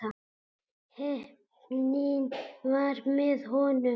Heppnin var með honum.